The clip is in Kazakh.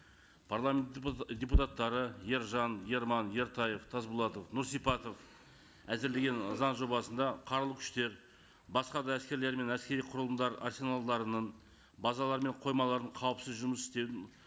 парламент депутаттары ержан ерман ертаев тасболатов нұрсипатов әзірлеген заң жобасында қарулы күштер басқа да әскерлер мен әскери құрылымдар арсеналдарының базалары мен қоймаларын қауіпсіз жұмыс істеуін